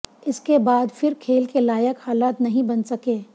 इसके बाद फिर खेल के लायक हालात नहीं बन सके